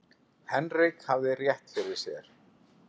Henrik hafði rétt fyrir sér.